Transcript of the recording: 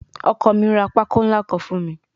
Ọkọ mi ra pákó ńlá kan fún mi